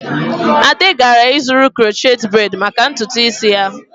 Ade gara ịzụrụ crochet braid maka ntutu isi ya.